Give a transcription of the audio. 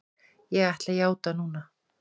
Ég ætla að játa núna.